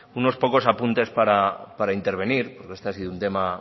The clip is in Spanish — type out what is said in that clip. unos pocos apuntes para intervenir porque este ha sido un tema